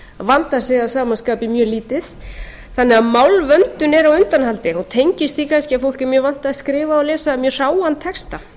vandar sig að sama skapi mjög lítið þannig að málvöndun er á undanhaldi og tengist því kannski að fólk er mjög vant að skrifa og lesa mjög hráan texta